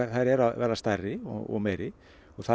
þær eru að verða stærri og meiri og það